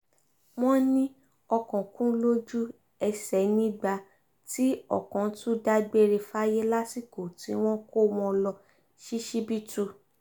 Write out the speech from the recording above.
wọ́n ní ọkàn kù lójú-ẹsẹ̀ nígbà tí ọkàn tún dágbére fáyé lásìkò tí wọ́n ń kó wọn lọ ṣíṣíbítù